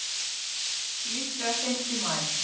Líklega seint í maí.